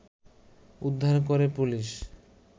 উদ্ধার করে পুলিশ